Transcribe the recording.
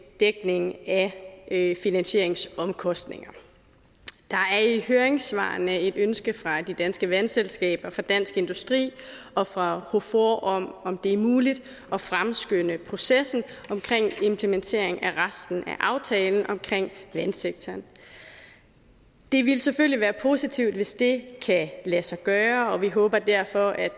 dækning af finansieringsomkostninger der er i høringssvarene et ønske fra de danske vandselskaber fra dansk industri og fra hofor om om det var muligt at fremskynde processen omkring implementeringen af resten af aftalen omkring vandsektoren det ville selvfølgelig være positivt hvis ikke kan lade sig gøre og vi håber derfor at